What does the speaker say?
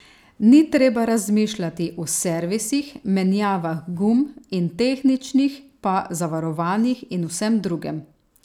Ni treba razmišljati o servisih, menjavah gum in tehničnih pa zavarovanjih in vsem drugem.